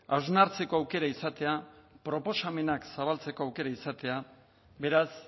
hausnartzeko aukera izatea proposamenak zabaltzeko aukera izatea beraz